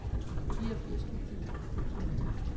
fireogfirs tusind ni hundrede og to